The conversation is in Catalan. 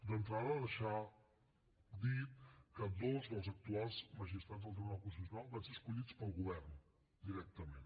d’entrada deixar dit que dos dels actuals magistrats del tribunal constitu cional van ser escollits pel govern directament